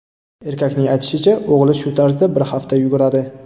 Erkakning aytishicha, o‘g‘li shu tarzda bir hafta yuguradi.